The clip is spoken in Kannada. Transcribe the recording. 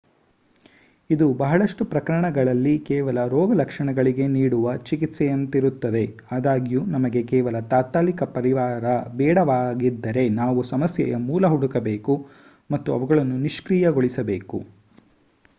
ಇದು ಬಹಳಷ್ಟು ಪ್ರಕರಣಗಳಲ್ಲಿ ಕೇವಲ ರೋಗ ಲಕ್ಷಣಗಳಿಗೆ ನೀಡುವ ಚಿಕಿತ್ಸೆಯಂತಿರುತ್ತದೆ ಅದಾಗ್ಯೂ ನಮಗೆ ಕೇವಲ ತಾತ್ಕಾಲಿಕ ಪರಿಹಾರ ಬೇಡವಾಗಿದ್ದರೆ ನಾವು ಸಮಸ್ಯೆಯ ಮೂಲ ಹುಡುಕಬೇಕು ಮತ್ತು ಅವುಗಳನ್ನು ನಿಷ್ಕ್ರಿಯ ಗೊಳಿಸಬೇಕು